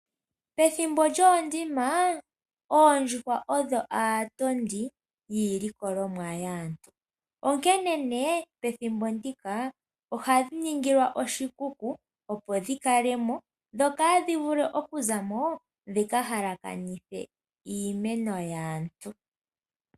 Pethimbo lyoondima! Oondjuhwa odho aatondi yiilikolomwa yaantu, onkene nee pethimbo ndika, ohadhi ningilwa oshikuku opo dhi kale mo, dho kaadhi vule oku za mo, dhi ka halakanithe iimeno yaantu.